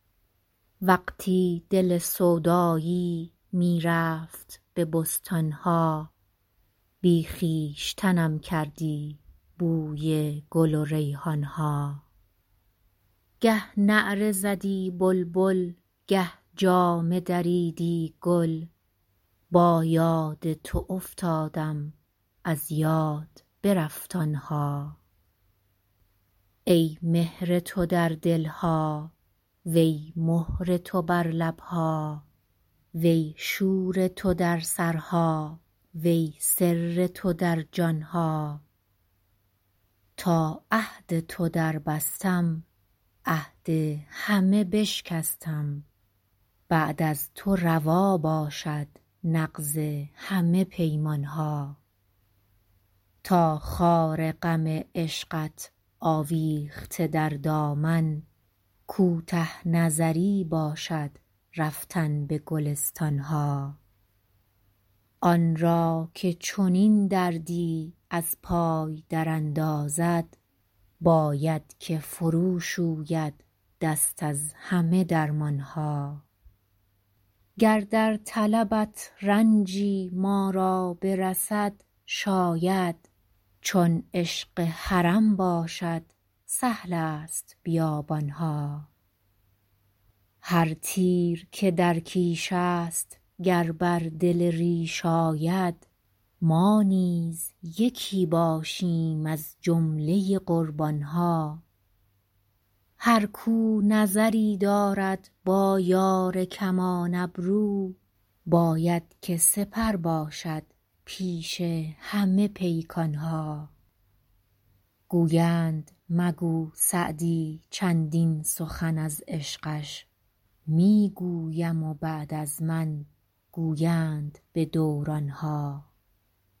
وقتی دل سودایی می رفت به بستان ها بی خویشتنم کردی بوی گل و ریحان ها گه نعره زدی بلبل گه جامه دریدی گل با یاد تو افتادم از یاد برفت آن ها ای مهر تو در دل ها وی مهر تو بر لب ها وی شور تو در سرها وی سر تو در جان ها تا عهد تو دربستم عهد همه بشکستم بعد از تو روا باشد نقض همه پیمان ها تا خار غم عشقت آویخته در دامن کوته نظری باشد رفتن به گلستان ها آن را که چنین دردی از پای دراندازد باید که فروشوید دست از همه درمان ها گر در طلبت رنجی ما را برسد شاید چون عشق حرم باشد سهل است بیابان ها هر تیر که در کیش است گر بر دل ریش آید ما نیز یکی باشیم از جمله قربان ها هر کاو نظری دارد با یار کمان ابرو باید که سپر باشد پیش همه پیکان ها گویند مگو سعدی چندین سخن از عشقش می گویم و بعد از من گویند به دوران ها